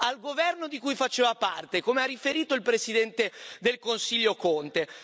al governo di cui faceva parte, come ha riferito il presidente del Consiglio Conte.